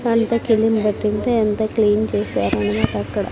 చిలుము పట్టింటే అంత క్లీన్ చేసారు అన్నమాట అక్కడ.